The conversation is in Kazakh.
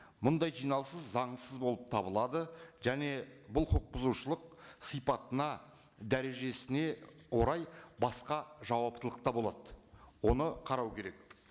мұндай жиналысы заңсыз болып табылады және бұл құқық бұзушылық сипатына дәрежесіне орай басқа жауаптылықта болады оны қарау керек